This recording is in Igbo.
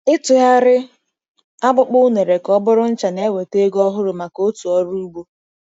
Ịtụgharị akpụkpọ unere ka ọ bụrụ ncha na-eweta ego ọhụrụ maka òtù ọrụ ugbo.